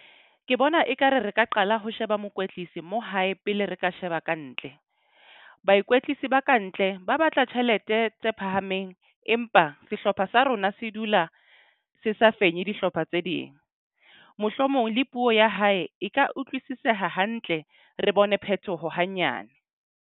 Ke bona ekare re ka qala ho sheba mokwetlisi mo hae pele re ka sheba kantle. Baikwetlisi ba kantle ba batla tjhelete tse phahameng. Empa sehlopha sa rona se dula se sa fenye dihlopha tse ding. Mohlomong le puo ya hae e ka utlwisiseha hantle. Re bone phethoho hanyane.